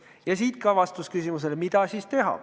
Ja siit ka vastus küsimusele, mida teha.